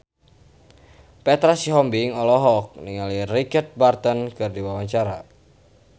Petra Sihombing olohok ningali Richard Burton keur diwawancara